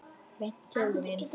Beint til mín!